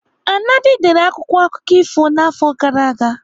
Anadi dere akwụkwọ akụkọ ifo n'afọ gara aga.